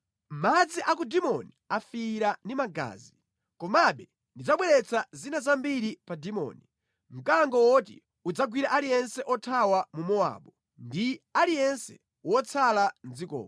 Madzi a ku Dimoni afiira ndi magazi, komabe ndidzabweretsa zina zambiri pa Dimoni, mkango woti udzagwire aliyense othawa mu Mowabu ndi aliyense wotsala mʼdzikomo.